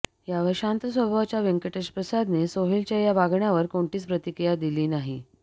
यावर शांत स्वभावाच्या व्यंकटेश प्रसादने सोहेलच्या या वागण्यावर कोणतीच प्रतिक्रिया दिली नाही